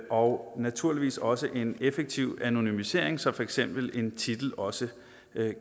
og naturligvis også en effektiv anonymisering så for eksempel en titel også